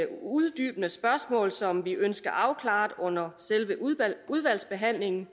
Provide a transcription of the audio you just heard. uddybende spørgsmål som vi ønsker afklaret under selve udvalgsbehandlingen